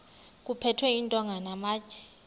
kuphethwe iintonga namatye